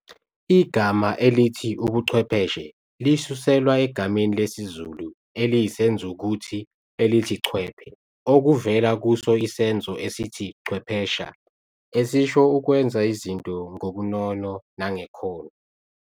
Igama elithi "Ubuchwepheshe" lisuselwa egameni lesizulu eliyisenzukuthi elithi "chwephe" okuvela kuso isenzo esithi "chwephesha" esisho ukwenza izinto ngobunono nangekhono.